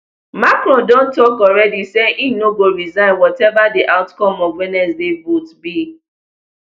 macron don tok alreadi say im no go resign wateva di outcome of wednesday vote be